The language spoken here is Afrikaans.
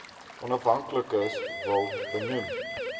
afhanklikes wil benoem